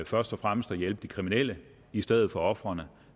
først og fremmest at hjælpe de kriminelle i stedet for ofrene